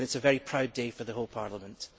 It is a very proud day for the whole Parliament.